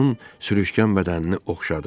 Onun sürüşkən bədənini oxşadı.